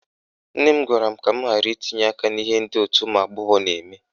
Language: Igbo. Nne m gwara m ka m ghara itinye aka n'ihe ndị òtù ụmụagbọghọ na-eme